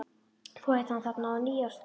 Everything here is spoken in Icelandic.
Þú hittir hann þarna á nýársnótt.